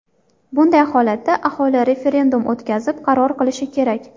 Bunday holatda aholi referendum o‘tkazib, qaror qilishi kerak.